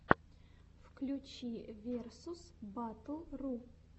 включи версус баттл ру